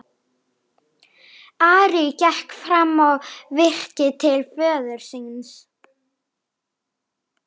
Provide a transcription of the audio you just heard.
Ari gekk fram á virkið til föður síns.